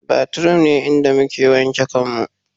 Bathroom ne inda muke wanke kanmu